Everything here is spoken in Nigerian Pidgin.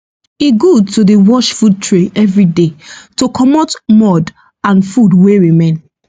e good to dey wash food tray everyday to komot mould and food wey remain